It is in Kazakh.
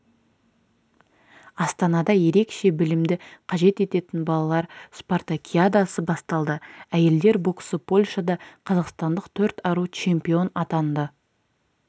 астанада ерекше білімді қажет ететін балалар спартакиадасы басталды әйелдер боксы польшада қазақстандық төрт ару чемпион атанды